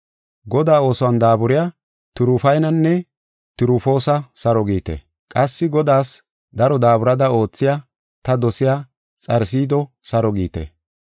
Godaa oosuwan daaburiya Tirufaynanne Tirufoosa saro giite. Qassi Godaas daro daaburada oothiya, ta dosiya Xarsido saro giite.